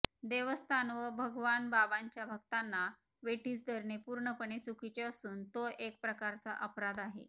देवस्थान व भगवानबाबांच्या भक्तांना वेठीस धरणे पूर्णपणे चुकीचे असून तो एक प्रकारचा अपराध आहे